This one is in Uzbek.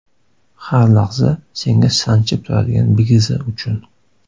Har lahza senga Sanchib turadigan bigizi uchun.